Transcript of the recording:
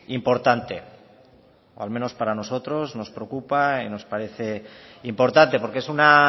importante o al menos para nosotros nos preocupa y nos parece importante porque es una